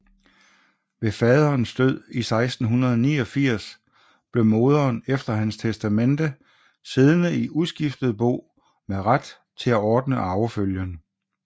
Ved faderens død 1689 blev moderen efter hans testamente siddende i uskiftet bo med ret til at ordne arvefølgen